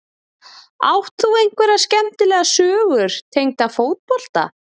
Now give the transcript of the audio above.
Átt þú einhverja skemmtilega sögur tengda fótbolta?